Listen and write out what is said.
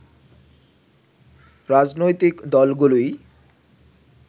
রাজনৈতিক দলগুলোই